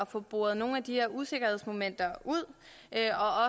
få boret nogle af de her usikkerhedsmomenter ud